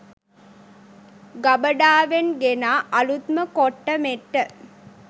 ගබඩාවෙන් ගෙනා අලූත්ම කොට්ට මෙට්ට